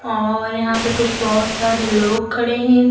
और यहां पे कुछ बहोत सारे लोग खड़े हैं।